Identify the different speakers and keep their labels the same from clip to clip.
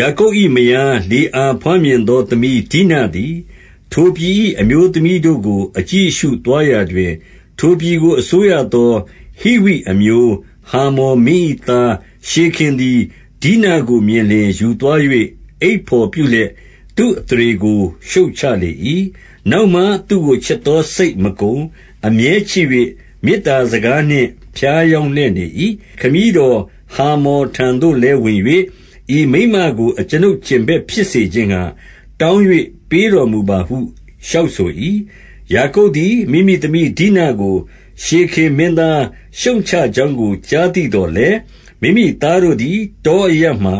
Speaker 1: ယာကုပ်၏မယား၊ လေအာ ဘွားမြင်သောသမီး ဒိနသည်၊ ထိုပြည်၏ အမျိုးသမီးတို့ကို အကြည့်အရှု သွားရာတွင်၊ ထိုပြည်ကို အစိုးရသောဟိဝိအမျိုး၊ ဟာမော်မင်း ၏သား ရှေခင်သည် ဒိနကိုမြင်လျှင်၊ ယူသွား၍ အိပ် ဘော်ပြုလျက်၊ သုအသရေကို ရှုတ်ချလေ၏။ နောက်မှ သူ့ကိုချစ်သော စိတ်မကုန်၊ အမြဲ ချစ်၍၊ မေတ္တာစကားနှင့်ဖြားယောင်းလျက် နေ၏။ ခမည်းတော်ဟာမော်ထံသို့လည်း ဝင်၍၊ ဤ မိန်းမကို အကျွန်ုပ်ကြင်ဘက်ဖြစ်စေခြင်းငှါ၊ တောင်း၍ ပေးတော်မူပါဟု လျှောက်ဆို၏။ ယာကုပ်သည် မိမိသမီးဒိနကို၊ ရှေခင်မင်းသား ရှုတ်ချကြောင်းကို ကြားသိသော်လည်း၊ မိမိသားတို့သည် တောအရပ်မှာ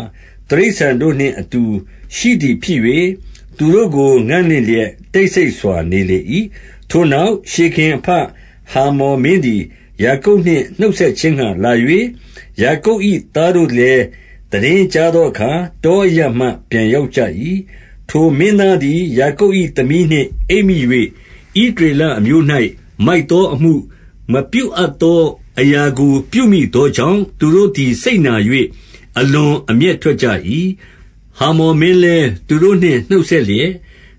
Speaker 1: တိရစ္ဆာန်တို့နှင့်အတူရှိသည်ဖြစ်၍၊ သူတို့ ကို ငံ့လင့်လျက် တိတ်ဆိတ်စွာနေလေ၏။ ထိုနောက်၊ ရှေခင်အဘ ဟာမော်မင်းသည် ယာကုပ်နှင့်နှုတ်ဆက်ခြင်းငှါ လာ၍၊ ယာကုပ်၏သားတို့လည်း သိတင်းကြားသော အခါ၊ တောအရပ်မှပြန်ရောက်ကြ၏။ ထိုမင်းသားသည် ယာကုပ်၏သမီးနှင့် အိပ်မိ၍၊ ဣသရေလအမျိုး၌ မိုက် သောအမှု၊ မပြုအပ်သော အရာကို ပြုမိသောကြောင့်၊ သူတို့သည် စိတ်နာ၍ အလွန်အမျက်ထွက်ကြ၏။ ဟာမော်မင်းလည်း သူတို့နှင့်နှုတ်ဆက်လျက်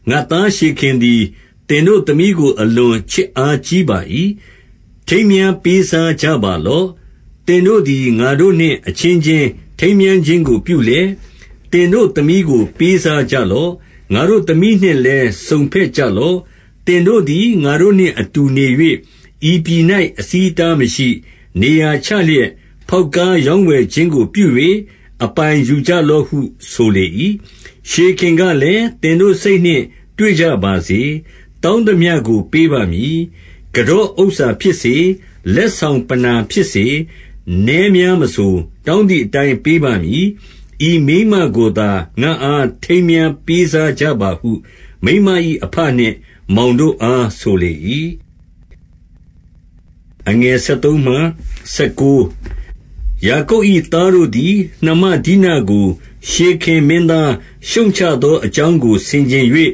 Speaker 1: ၊ ငါ့သားရှေခင်သည်၊ သင်တို့သမီးကို အလွန် ချစ်အားကြီး ပါ၏။ ထိမ်းမြားပေးစားကြပါလော့။ သင်တို့သည် ငါတို့နှင့်အချင်းချင်း ထိမ်းမြားခြင်း ကို ပြုလျက်၊ သင်တို့သမီးကို ပေးစားကြလော့။ ငါတို့သမီး နှင့်လည်း စုံဘက်ကြလော့။ သင်တို့သည် ငါတို့နှင့်အတူနေ၍၊ ဤပြည်၌ အဆီးအတားမရှိ၊ နေရာချလျက်၊ ဖေါက်ကားရောင်းဝယ် ခြင်းကို ပြု၍၊ အပိုင်ယူကြလော့ဟု ဆိုလေ၏။ ရှေခင်ကလည်း၊ သင်တို့စိတ်နှင့်တွေ့ကြပါစေ။တောင်းသမျှကို ပေးပါမည်။ ကန်တော့ဥစ္စာဖြစ်စေ၊ လက်ဆောင်ပဏ္ဏာဖြစ် စေ၊ နည်းများမဆို၊ တောင်းသည့်အတိုင် ပေးပါမည်။ဤမိန်းမကိုသာ ငါ့အား ထိမ်းမြားပေးစားကြပါဟု၊ မိန်းမ ၏အဘနှင့်မောင်တို့အား ဆိုလေ၏။ ယာကုပ်၏ သားတို့သည်၊ နှမဒိနကို ရှေခင် မင်းသား ရှုတ်ချသောအကြောင်းကို ဆင်ခြင်၍၊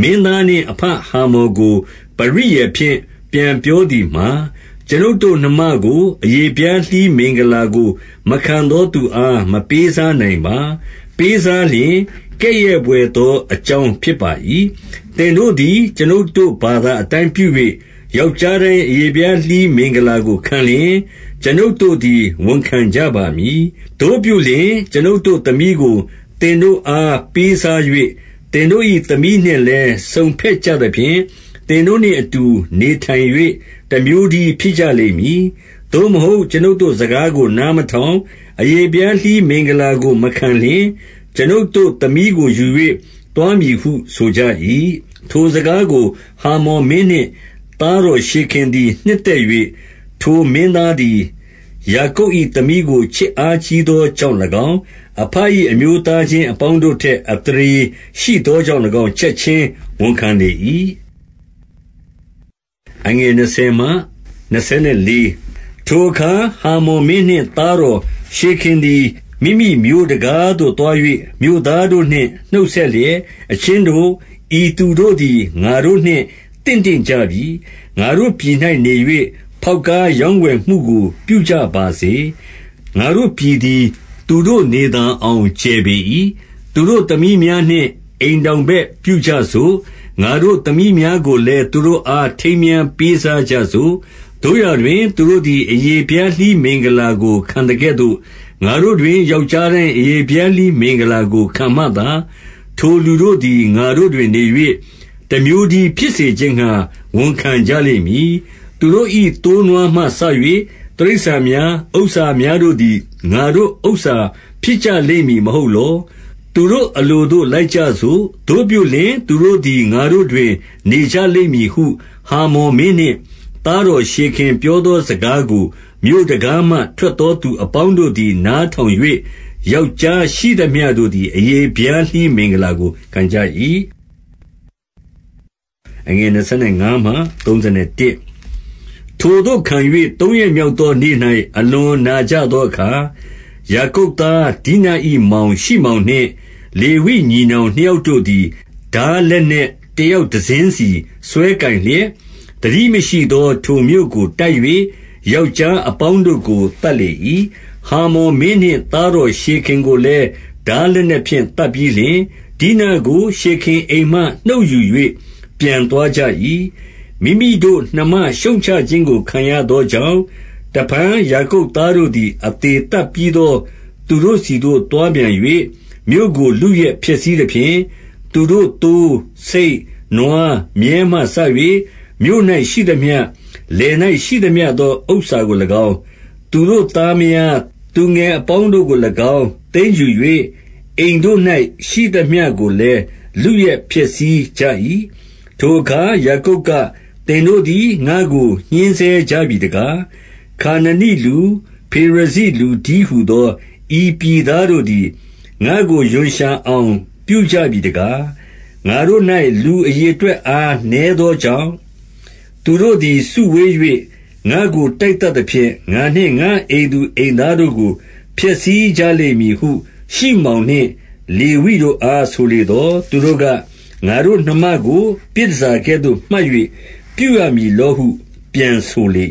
Speaker 1: မင်းသား နှင့်အဘဟာမော်ကို ပရိယာယ်ဖြင့် ပြန်ပြောသည်မှာ၊ ကျွန်ုပ်တို့နှမကို အရေဖျားလှီးမင်္ဂလာကို မခံ သောသူအား မပေးစားနိုင်ပါ။ ပေးစားလျှင်၊ ကဲ့ရဲ့ဘွယ် သောအကြောင်း ဖြစ်ပါ၏။ သင်တို့သည် ကျွန်ုပ်တို့ ဘာသာအတိုင်းပြု၍၊ ယောက်ျားတိုင်း အရေဖျားလှီးမင်္ဂလာကို ခံလျှင်၊ ကျွန်ုပ် တို့သည် ဝန်ခံကြပါမည်။ သို့ပြုလျှင်၊ ကျွန်ုပ်တို့သမီးကို သင်တို့အား ပေးစား၍၊ သင်တို့၏သမီးနှင့်လည်း စုံဘက်ကြသဖြင့်၊ သင်တို့နှင့်အတူနေထိုင်၍၊ တမျိုးတည်းဖြစ် ကြလိမ့်မည်။ သို့မဟုတ်ကျွန်ုပ်တို့စကားကို နားမထောင်၊ အရေဖျားလှီးမင်္ဂလာကိုမခံလျှင်၊ ကျွန်ုပ်တို့ သမီးကိုယူ၍ သွားမည်ဟုဆိုကြ၏။ ထိုစကားကို ဟာမော်မင်းနှင့် သားတော်ရှေခင် သည် နှစ်သက်၍၊၊ ထိုမင်းသားသည်၊ ယာကုပ်၏သမီးကို ချစ်အား ကြီးသောကြောင့်၎င်း၊ အဘ၏ အမျိုးသားချင်းအပေါင်း တို့ထက် အသရေရှိသောကြောင့်၎င်း၊ ချက်ခြင်းဝန်ခံလေ ၏။ ထိုအခါ၊ ဟာမော်မင်းနှင့် သားတော် ရှေခင် သည်၊ မိမိမြို့တံခါးသို့ သွား၍၊ မြို့သားတို့နှင့် နှုတ်ဆက် လျက်၊ အချင်းတို့၊ ဤသူတို့သည် ငါတို့နှင့် သင့်တင့် ကြပြီ။ ငါတို့ပြည်၌နေ၍ ဖေါက်ကားရောင်းဝယ်မှုကို ပြုကြပါစေ။ ငါတို့ပြည်သည် သူတို့နေသာအောင် ကျယ်ပေ၏။ သူတို့သမီးများနှင့် အိမ်ထောင်ဘက် ပြုကြ စို့။ငါတို့သမီးများကိုလည်း သူတို့အား ထိမ်းမြားပေးစား ကြစို့။ သို့ရာတွင် သူတို့သည် အရေဖျားလှီးမင်္ဂလာ ကိုခံသကဲ့သို့၊ ငါတို့တွင် ယောက်ျားတိုင်း အရေဖျားလှီး မင်္ဂလာကို ခံမှသာ၊ထိုလူတို့သည် ငါတို့တွင်နေ၍ တမျိုး တည်း ဖြစ်စေခြင်းငှါ ဝန်ခံကြလိမ့်မည်။ သူတို့၏သိုးနွားမှစ၍ တိရစ္ဆာန်များ၊ ဥစ္စာများတို့ သည် ငါတို့ဥစ္စာ ဖြစ်ကြလိမ့်မည် မဟုတ်လော။ သူတို့ အလိုသို့လိုက်ကြစို့။ သို့ပြုလျှင် သူတို့သည် ငါတို့တွင် နေကြလိမ့်မည်ဟု၊ ဟာမော်မင်းနှင့် သားတော်ရှေခင်ပြောသော စကားကို၊ မြို့တံခါးမှ ထွက်သောသူအပေါင်းတို့သည် နားထောင်၍ ယောက်ျားရှိသမျှတို့သည် အရေဖျားလှီး မင်္ဂလာကိုခံကြ၏။ ထိုသို့ခံ၍ သုံးရက်မြောက်သော နေ့၌၊ အလွန် နာကြသောအခါ၊ ယာကုပ်သား၊ ဒိန၏မောင် ရှိမောင်နှင့် လေဝိညီနောင် နှစ်ယောက်တို့သည်၊ ထားလက်နက် တယောက်တစင်းစီ စွဲကိုင်လျက်၊ သတိမရှိသော ထိုမြို့ကို တိုက်၍၊ ယောက်ျားအပေါင်းတို့ကို သတ်လေ၏။ ဟာမော်မင်းနှင့် သားတော်ရှေခင်ကိုလည်း ထားလက်နက်ဖြင့် သတ်ပြီးလျှင်၊ ဒိနကို ရှေခင်အိမ်မှ နှုတ်ယူ၍ ပြန်သွားကြ၏။ မိမိတို့နှမ ရှုတ်ချခြင်းကို ခံရသောကြောင့်၊ တဖန်ယာကုပ်သားတို့သည် အသေသတ်ပြီးသော သူတို့ ဆီသို့သွားပြန်၍၊ မြို့ကိုလုယက်ဖျက်ဆီးသဖြင့်၊ သူတို့ သိုး၊ဆိတ်၊နွား၊မြည်းမှစ၍၊ မြို့၌ရှိသမျှ၊ လယ်၌ရှိသမျှသော ဥစ္စာကို၎င်း၊ သူတို့သားမယား သူငယ်အပေါင်းကို၎င်း သိမ်း ယူ၍၊ အိမ်တို့၌ရှိသမျှကိုလည်း လုယက်ဖျက်ဆီးကြ၏။ ထိုအခါ ယာကုပ်က၊ သင်တို့သည် ငါ့ကို ညှဉ်းဆဲ ကြပြီတကား။ ခါနနိလူ၊ ဖေရဇိလူတည်းဟူသော၊ ဤပြည် သားတို့သည် ငါ့ကိုရွံရှာအောင် ပြုကြပြီတကား။ ငါတို့၌ လူအရေအတွက် အားနည်းသောကြောင့်၊ သူတို့သည် စုဝေး၍ ငါ့ကိုတိုက်သတ်သဖြင့်၊ ငါနှင့် ငါ့အိမ်သူ အိမ်သားတို့ကို ဖျက်ဆီးကြလိမ့်မည်ဟု၊ ရှိမောင်နှင့် လေဝိတို့အား ဆိုလေသော်၊ သူတို့က၊ ငါတို့နှမကို ပြည်တန်ဆာကဲ့သို့မှတ်၍ ပြုရမည်လောဟု ပြန်ဆိုလေ